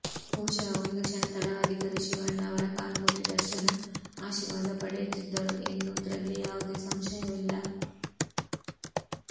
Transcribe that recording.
ಬಹುಶಃ ಒಂದು ಕ್ಷಣ ತಡವಾಗಿದ್ದರೂ ಶಿವಣ್ಣ ಅವರ ಕಾಲು ಮುಟ್ಟಿ ದರ್ಶನ್ ಆಶೀರ್ವಾದ ಪಡೆಯುತ್ತಿದ್ದರು ಎನ್ನುವುದ್ರಲ್ಲಿ ಯಾವುದೇ ಸಂಶಯವಿಲ್ಲ